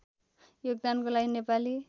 योगदानको लागि नेपाली